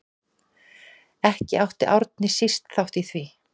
Ekki átti Árni síst þátt í því.